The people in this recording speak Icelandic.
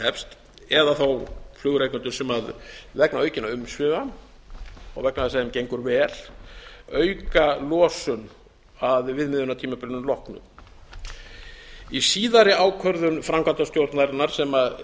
hefst eða þá flugrekendur sem vegna aukinna umsvifa og vegna þess á þeim gengur verr auka losun að viðmiðunartímabilinu loknu í síðari ákvörðun framkvæmdastjórnarinnar sem